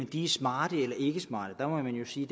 de er smarte eller ikke smarte her må man jo sige